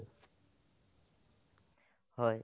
হয়